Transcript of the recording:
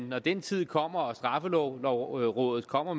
når den tid kommer og straffelovrådet kommer